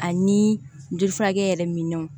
Ani joli furakɛ yɛrɛ minɔnw